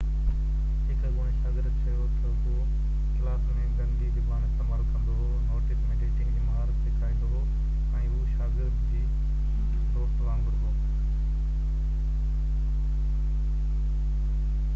هڪ اڳوڻي شاگرد چيو ته هو ڪلاس ۾ گندي زبان استعمال ڪندو هو نوٽس ۾ ڊيٽنگ جي مهارت سيکاريندو هو ۽ هو شاگردن جي دوست وانگر هو